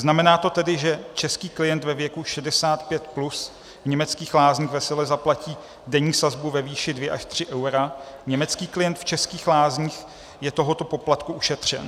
Znamená to tedy, že český klient ve věku 65+ v německých lázních vesele zaplatí denní sazbu ve výši 2 až 3 eura, německý klient v českých lázních je tohoto poplatku ušetřen.